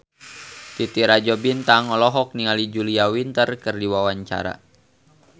Titi Rajo Bintang olohok ningali Julia Winter keur diwawancara